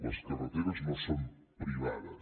les carreteres no són privades